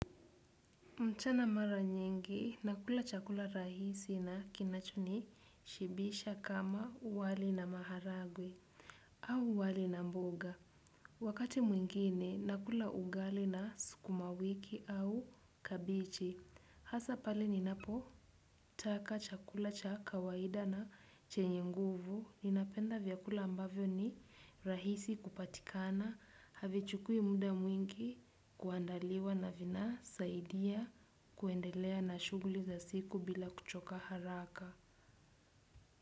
Mchana mara nyingi, nakula chakula rahisi na kinacho nishibisha kama wali na maharagwe au wali na mboga. Wakati mwingine, nakula ugali na sukumawiki au kabichi. Hasa pale ninapo taka chakula cha kawaida na chenye nguvu, ninapenda vyakula ambavyo ni rahisi kupatikana, havi chukuwi muda mwingi, kuandaliwa na vina, saidia, kuendelea na shughuli za siku bila kuchoka haraka.